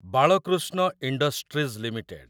Balakrishna industries limited